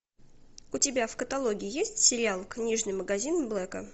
у тебя в каталоге есть сериал книжный магазин блэка